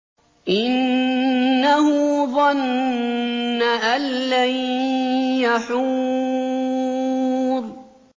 إِنَّهُ ظَنَّ أَن لَّن يَحُورَ